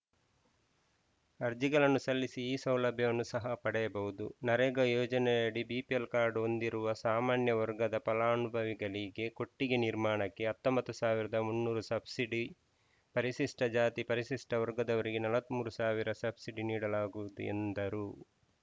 ಅರ್ಜಿಗಳನ್ನು ಸಲ್ಲಿಸಿ ಈ ಸೌಲಭ್ಯವನ್ನು ಸಹ ಪಡೆಯಬಹುದು ನರೇಗಾ ಯೋಜನೆಯಡಿ ಬಿಪಿಎಲ್‌ ಕಾರ್ಡ್‌ ಹೊಂದಿರುವ ಸಾಮಾನ್ಯ ವರ್ಗದ ಫಲಾನುಭವಿಗಳಿಗೆ ಕೊಟ್ಟಿಗೆ ನಿರ್ಮಾಣಕ್ಕೆ ಹತ್ತೊಂಬತ್ತ್ ಸಾವಿರದ ಮುನ್ನೂರು ಸಬ್ಸಿಡಿ ಪಜಾ ಪವರ್ಗದವರಿಗೆ ನಲವತ್ತ್ ಮೂರು ಸಾವಿರ ಸಬ್ಸಿಡಿ ನೀಡಲಾಗುವುದು ಎಂದರು